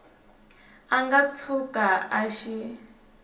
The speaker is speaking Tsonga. a nga tshuka a xi